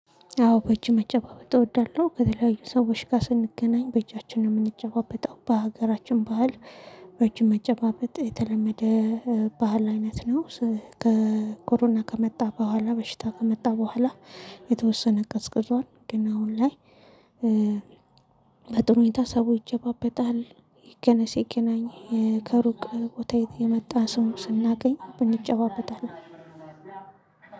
አዎ በእጅ መጨባበጥ እወዳለሁ ከተለያዩ ሰዎች ጋር ስንገናኝ በእጃችን ነው የምንጨባበጠው በሀገራችን ባህል። በእጅ መጨባበጥ የተለመደ ባህል አይነት ነው። ከኮሮና ከመጣ በኋላ በሽታ ከመጣ በኋላ። የተወሰነ ቀዝቅዟል ግን አሁን ላይ። በጥሩ ሁኔታ ሰው ይጨባበጣል። ገና ሲገናኝ ከሩቅ ቦታ የመጣ ሰው ስናገኝ እንጨባበጣለን።